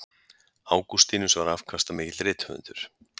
Ágústínus var afkastamikill rithöfundur.